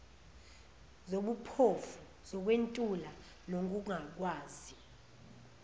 zobuphofu zokwentula nokungakwazi